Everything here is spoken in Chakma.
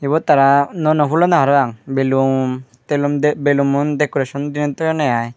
ibot tara nuo nuo hullonde parapang belun telun bellumun decoration diney toyonne aai.